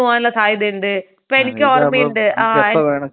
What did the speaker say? *not clear*